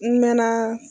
N mɛn na